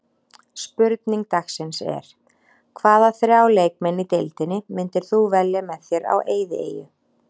Spurning dagsins er: Hvaða þrjá leikmenn í deildinni myndir þú velja með þér á eyðieyju?